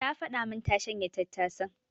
Ta faɗa min na shanya tattasan.